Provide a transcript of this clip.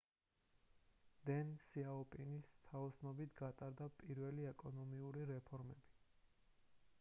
დენ სიაოპინის თაოსნობით გატარდა პირველი ეკონომიკური რეფორმები